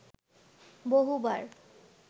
বহুবার